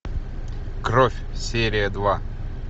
кровь серия два